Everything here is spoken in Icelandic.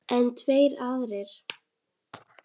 En tveir aðrir